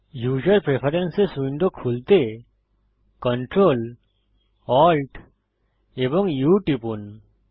user preferences window খুলতে Ctrl Alt এবং U টিপুন